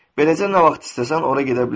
Beləcə nə vaxt istəsən, ora gedə bilərsən.